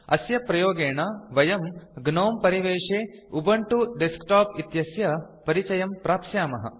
अस्य प्रयोगेण वयं ग्नोम परिवेशे उबुन्तु डेस्कटॉप इत्यस्य परिचयं प्राप्स्यामः